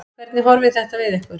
Hvernig horfir þetta við ykkur?